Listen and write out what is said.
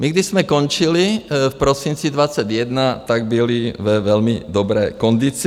My, když jsme končili v prosinci 2021, tak byly ve velmi dobré kondici.